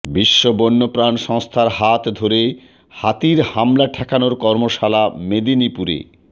বিশ্ব বন্যপ্রাণ সংস্থার হাত ধরে হাতির হামলা ঠেকানোর কর্মশালা মেদিনীপুরে